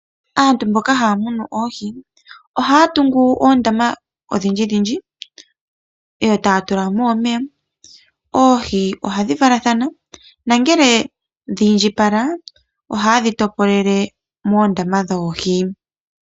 Aantu mboka haya munu oohi ohaya tungu oondama odhindji dhindji yo taya tulamo omeya . Oohi ohadhi valathana nongele dhi indjipala ohayedhi topolele moondama dhoohi